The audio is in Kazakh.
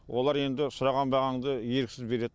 олар енді сұраған бағаңды еріксіз береді